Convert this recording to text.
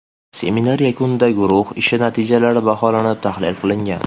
Seminar yakunida guruh ishi natijalari baholanib, tahlil qilingan.